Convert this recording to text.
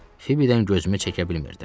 Fibidən gözümü çəkə bilmirdim.